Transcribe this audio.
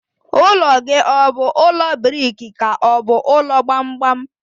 Ụlọ gị ọ bụ ụlọ briki ka ọ bụ ụlọ gbamgbam?